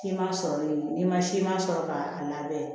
Siman sɔrɔlen n'i ma siman sɔrɔ k'a n'a bɛɛ